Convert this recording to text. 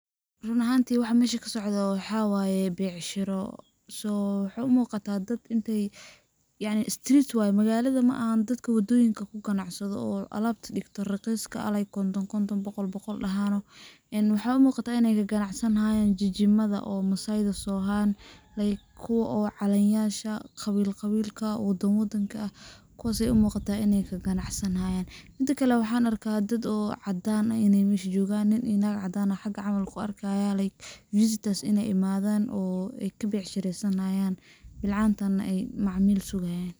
Run ahanti waxaa meshan kasocdho waxaa waye becsharo, so waxay umuqatah dad inta ay yacni [street waye magalada maahan dadka wadoyinka kuganacsado oo alabta digto raqiska ah like konton konton , boqol boqol , een waxay umuqatah in ay kaganacsanhayan jijimada masayda sohan like kuwa calanyasha qabil qabilka, wadan wadanka ah kuwas ay umuqatah in ay kaganacsanhayan, midikale waxan arkaah dad oo cadan eh in ay mesha jogan , nin iyo nag cadan ah mesha camal kuarkayaa [like visitors in ay imadhan oo kabecsharesanayan, bilcantana ay macamil sugayan.